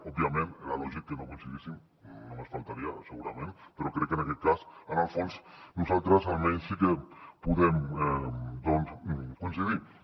òbviament era lògic que no coincidíssim només faltaria segurament però crec que en aquest cas en el fons nosaltres almenys sí que podem doncs coincidir hi